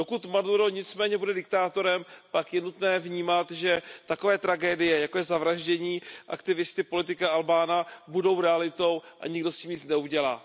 Dokud Maduro nicméně bude diktátorem, pak je nutné vnímat, že takové tragédie, jako je zavraždění aktivisty, politika Albána, budou realitou a nikdo s tím nic neudělá.